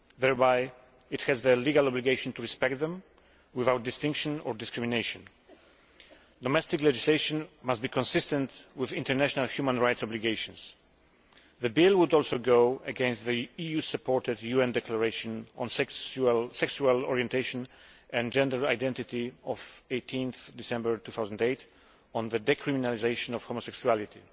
Thereby it has the legal obligation to respect them, without distinction or discrimination. Domestic legislation must be consistent with international human rights obligations. The bill would also go against the EU supported UN declaration on sexual orientation and gender identity of 18 December 2008 regarding the decriminalisation of homosexuality.